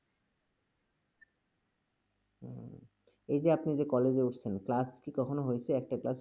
হুম, এই যে আপনি যে college -এ উঠসেন, class কি কখনো হয়ছে, একটা class?